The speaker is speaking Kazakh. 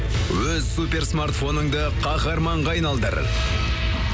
өз суперсмартфоныңды каһарманға айналдыр